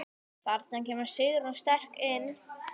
Þarna kemur Sigrún sterk inn.